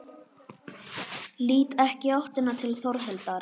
Lít ekki í áttina til Þórhildar.